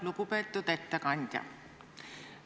Lugupeetud ettekandja!